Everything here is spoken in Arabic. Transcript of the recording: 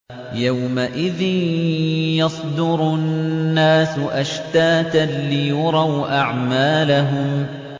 يَوْمَئِذٍ يَصْدُرُ النَّاسُ أَشْتَاتًا لِّيُرَوْا أَعْمَالَهُمْ